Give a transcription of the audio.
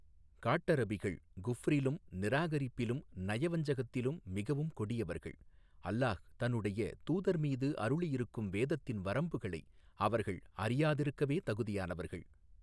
காட்டரபிகள் குஃப்ரிலும் நிராகரிப்பிலும் நயவஞ்சகத்திலும் மிகவும் கொடியவர்கள் அல்லாஹ் தன்னுடைய தூதர் மீது அருளியிருக்கும் வேதத்தின் வரம்புகளை அவர்கள் அறியாதிருக்கவே தகுதியானவர்கள்.